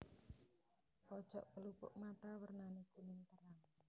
Pojok pelupuk mata wernané kuning terang